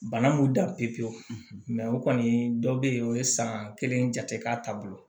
Bana m'u dan pepewu o kɔni dɔ bɛ yen o ye san kelen jate k'a taa bolo